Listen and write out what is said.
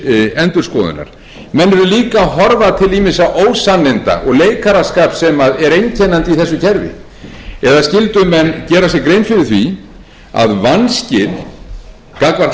endurskoðunar menn eru líka að horfa til ýmissa ósanninda og leikaraskapar sem er einkennandi í þessu kerfi eða skyldu menn gera sér grein fyrir því að vanskil gagnvart